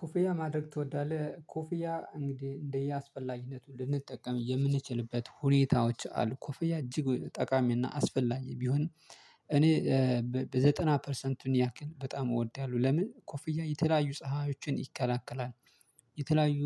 ኮፍያ ማድረግ ትወዳለህ? ኮፍያ እንግዲህ እንደየአስፈላጊነቱ ልንጠቀም የምንችልበት ሁኔታዎች አሉ ኮፍያ እጅግ ጠቃሚና አስፈላጊ ቢሆን እኔ በዘጠና ፐርሰንቱን ያክል በጣም እወዳለሁ። ለምን ኮፍያ የተለያዩ ፀሀዮችን ይከላከላል የተለያዩ